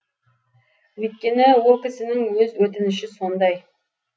өйткені ол кісінің өз өтініші сондай